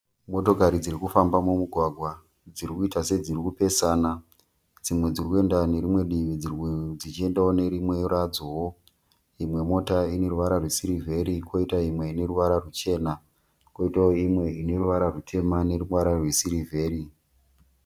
Motokari dziri kufamba mumugwagwa dzirikuita sedziri kupesana. Dzimwe dziri kuenda nerimwe divi dzimwe dzichiendawo nerimwe radzowo. Imwe moto ine ruvara rwesirivheri koita imwe ine ruvara ruchena. Koitawo imwe ine ruvara rutema neruvara rwesirivheri.